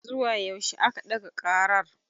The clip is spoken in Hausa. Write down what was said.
Zuwa yaushe a ka ɗaga ƙarar.